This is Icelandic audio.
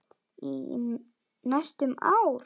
Í næstum ár.